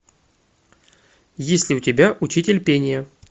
есть ли у тебя учитель пения